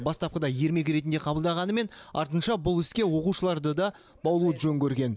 бастапқыда ермек ретінде қабылдағанымен артынша бұл іске оқушыларды да баулуды жөн көрген